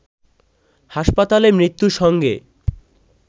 হাসপাতালে মৃত্যুর সঙ্গে